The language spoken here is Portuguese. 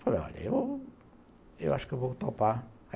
Falei, olha, eu acho que eu vou topar.